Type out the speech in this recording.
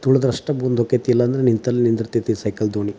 ತುಳು ದಷ್ಟೇ ಮುಂದೋಗುತ್ತೆ ಇಲ್ಲಾಂದ್ರೆ ನಿಂತಲ್ಲೇ ನಿಲ್ಲುತ್ತೆ ಸೈಕಲ್ ದೋಣಿ.